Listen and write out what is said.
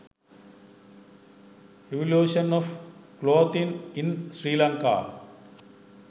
evolution of clothing in sri lanka